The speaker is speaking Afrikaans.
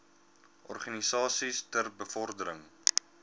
organisasies ter bevordering